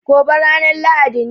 Gobe ranan lahadi ne